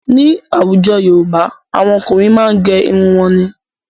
Ní àwùjọ Yorùbá, àwọn ọkùnrin máa n gé irun wọn ni.